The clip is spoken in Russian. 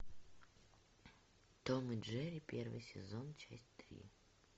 том и джерри первый сезон часть три